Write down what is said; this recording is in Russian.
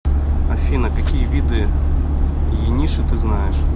афина какие виды ениши ты знаешь